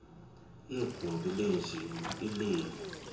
yegumbi lenjini ileli